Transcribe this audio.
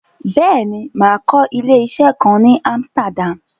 Rárá, mà á lọ sí ilé-isé kan ní Amsterdam.